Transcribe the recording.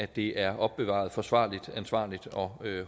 det er opbevaret forsvarligt ansvarligt og